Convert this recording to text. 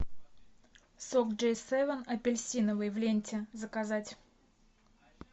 сок джей севен апельсиновый в ленте заказать